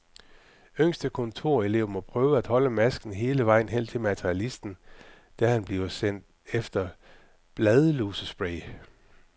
Yngste kontorelev må prøve at holde masken hele vejen hen til materialisten, da han bliver sendt efter bladlusespray.